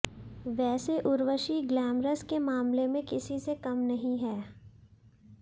वैसे उर्वशी ग्लैमरस के मामले में किसी से कम नहीं हैं